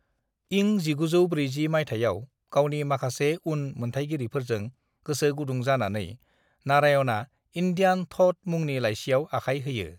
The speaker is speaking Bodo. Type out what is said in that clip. इं 1940 माइथायाव गावनि माखासे उन मोनथायगिरिफोरजों गोसो गुदुं जानानै नारायणआ इंडियन थ'ट मुंनि लाइसियाव आखाइ होयो।